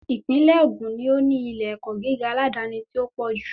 Ìpínlè Ògùn ni ó ní ilé ẹ̀kọ́ gíga aládáni tí o pọ ju